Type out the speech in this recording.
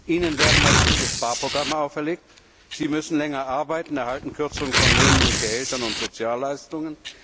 Ihnen werden massive Sparprogramme auferlegt, Sie müssen länger arbeiten, erhalten Kürzungen von Löhnen und Gehältern und Sozialleistungen.